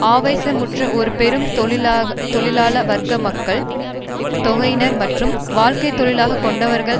ஆவேசமுற்ற ஒரு பெரும் தொழிலாள வர்க்க மக்கள் தொகையினர் மற்றும் வாழ்க்கை தொழிலாக கொண்டவர்கள்